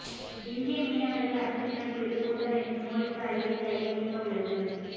இந்திய மீனவர்கள் அத்து மீறல் குறித்து கூட்டமைப்பு மோடிக்கு அறிக்கை கையளிக்கவுள்ளது